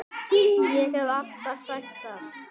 Ég hef alltaf sagt það.